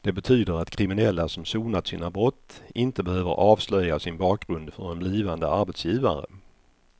Det betyder att kriminella som sonat sina brott inte behöver avslöja sin bakgrund för en blivande arbetsgivare.